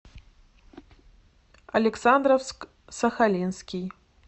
александровск сахалинский